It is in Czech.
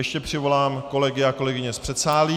Ještě přivolám kolegy a kolegyně z předsálí.